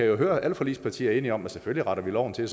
jo høre er alle forligspartier enige om at vi selvfølgelig retter loven til